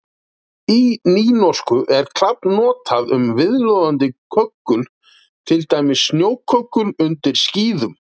Í nýnorsku er klabb notað um viðloðandi köggul, til dæmis snjóköggul undir skíðum.